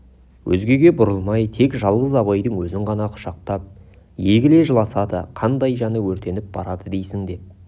өзгеге бұрылмай тек жалғыз абайдың өзін ғана құшақтап егіле жыласады қандай жаны өртеніп барады дейсің деп